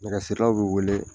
Nɛgɛsirilaw be weele